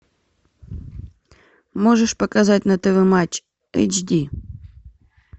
можешь показать на тв матч эйч ди